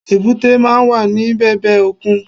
Èbúté máa n wà ní bèbè òkun